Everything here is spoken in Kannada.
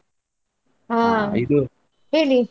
ಹಾ ಹೇಳಿ.